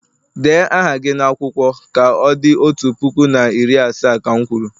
Dee aha gị n'akwụkwọ ka o di otu puku na iri asaa, ka m kwuru!